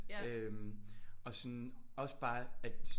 Øh og sådan også bare at